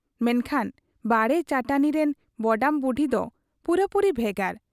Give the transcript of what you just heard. ᱢᱮᱱᱠᱷᱟᱱ ᱵᱟᱲᱮ ᱪᱟᱹᱴᱟᱹᱱᱤ ᱨᱤᱱ ᱵᱚᱰᱟᱢ ᱵᱩᱰᱷᱤ ᱫᱚ ᱯᱩᱨᱟᱹᱯᱩᱨᱤ ᱵᱷᱮᱜᱟᱨ ᱾